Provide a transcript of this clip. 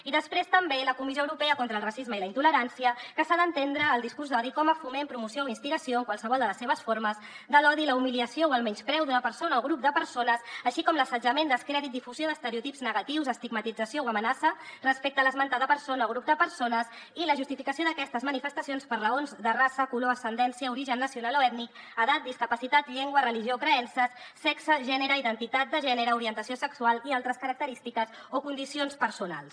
i després també la comissió europea contra el racisme i la intolerància que s’ha d’entendre el discurs d’odi com a foment promoció o instigació en qualsevol de les seves formes de l’odi la humiliació o el menyspreu d’una persona o grup de persones així com l’assetjament descrèdit difusió d’estereotips negatius estigmatització o amenaça respecte a l’esmentada persona o grup de persones i la justificació d’aquestes manifestacions per raons de raça color ascendència origen nacional o ètnic edat discapacitat llengua religió o creences sexe gènere identitat de gènere orientació sexual i altres característiques o condicions personals